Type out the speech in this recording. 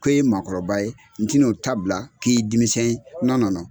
K'e ye mɔgɔkɔrɔba ye n tɛn'o ta bila k'i ye denmisɛn ye